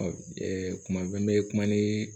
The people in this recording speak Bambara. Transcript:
kuma bɛɛ n bɛ kuma ni